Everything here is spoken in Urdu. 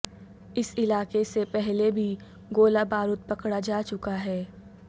اس علاقے سے پہلے بھی گولہ بارود پکڑا جا چکا ہے